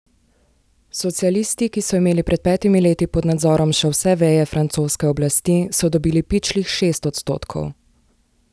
Socialisti, ki so imeli pred petimi leti pod nazorov še vse veje francoske oblasti, so dobili pičlih šest odstotkov.